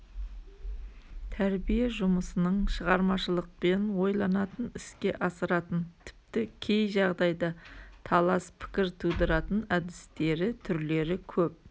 тәрбие жұмысының шығармашылықпен ойланатын іске асыратын тіпті кей жағдайда талас пікір тудыратын әдістері түрлері көп